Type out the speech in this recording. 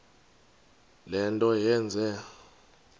le nto yenze